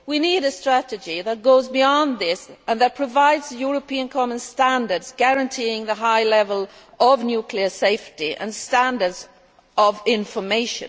We need a strategy which goes beyond this and that provides European common standards guaranteeing a high level of nuclear safety and information.